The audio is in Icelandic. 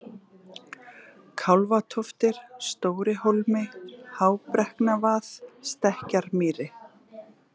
Kálfatóftir, Stórihólmi, Hábrekknavað, Stekkjarmýri